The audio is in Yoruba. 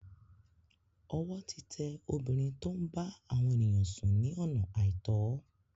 Ọwọ́ ti tẹ obìnrin tó ń bá àwọn èyàn sùn ní ọ̀nà àìtọ́.